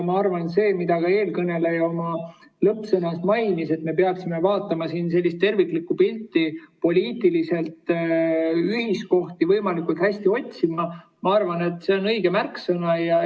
Ma arvan, et see, mida ka eelkõneleja oma lõppsõnas mainis, et me peaksime vaatama siin terviklikku pilti ja poliitiliselt võimalikult hästi ühiskohti otsima, on õige märksõna.